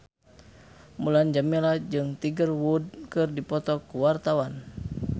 Mulan Jameela jeung Tiger Wood keur dipoto ku wartawan